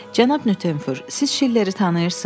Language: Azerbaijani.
Cənab Nüttenfur, siz Şilleri tanıyırsız?